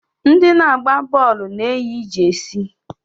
Ndị na-agba bọọlụ na-eyi jesi.